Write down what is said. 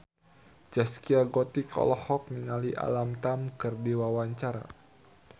Zaskia Gotik olohok ningali Alam Tam keur diwawancara